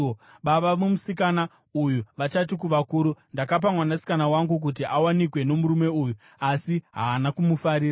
Baba vomusikana uyu vachati kuvakuru, “Ndakapa mwanasikana wangu kuti awanikwe nomurume uyu, asi haana kumufarira.